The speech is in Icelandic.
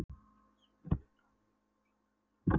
Ráðuneytisstjóri stýrir ráðuneytinu undir yfirstjórn ráðherra.